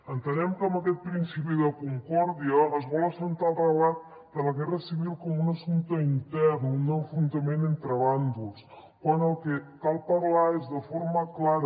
entenem que amb aquest principi de concòrdia es vol assentar el relat de la guerra civil com un assumpte intern un enfrontament entre bàndols quan el que cal parlar és de forma clara